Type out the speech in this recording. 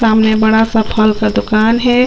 सामने बड़ा सा फल का दुकान है।